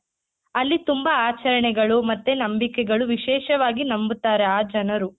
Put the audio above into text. ಅಲ್ಲಿ ತುಂಬಾ ಆಚರಣೆಗಳು ಮತ್ತೆ ನಂಬಿಕೆಗಳು ವಿಶೇಷವಾಗಿ ನಂಬುತಾರೆ ಆ ಜನರು.